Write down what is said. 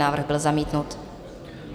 Návrh byl zamítnut.